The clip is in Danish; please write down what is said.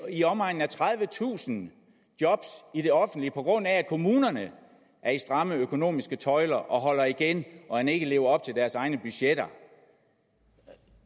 i omegnen af tredivetusind job i det offentlige på grund af at kommunerne er i stramme økonomiske tøjler og holder igen og end ikke lever op til deres egne budgetter